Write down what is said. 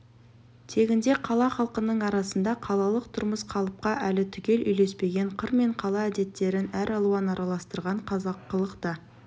тегінде қала халқының арасында қалалық тұрмыс қалыпқа әлі түгел үйлеспеген қыр мен қала әдеттерін әралуан араластырған қазақылық та